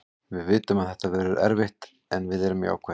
Við vitum að þetta verður erfitt en við erum jákvæðir.